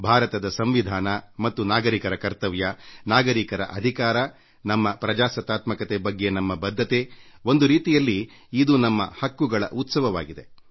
ಭಾರತದ ಸಂವಿಧಾನ ಮತ್ತು ನಾಗರಿಕರ ಕರ್ತವ್ಯ ನಾಗರಿಕರ ಹಕ್ಕುಗಳು ಪ್ರಜಾಪ್ರಭುತ್ವದ ಬಗ್ಗೆ ನಮ್ಮ ಬದ್ಧತೆಇವೆಲ್ಲವೂಒಂದು ರೀತಿಯಲ್ಲಿ ನಮ್ಮ ಸಂಸ್ಕಾರಗಳ ಹಬ್ಬವಾಗಿದೆ